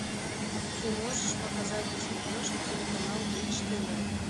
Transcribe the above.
ты можешь показать на смотрешке телеканал бридж тв